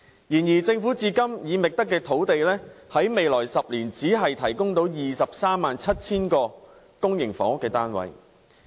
然而，政府至今已覓得的用地在未來10年只可提供23萬7000個公營房屋單位。